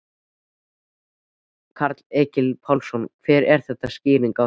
Karl Eskil Pálsson: Hver er skýringin á því?